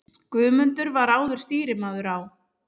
Guðmundur var áður stýrimaður á